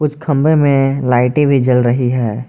खंभे में लाइटें भी जल रही हैं।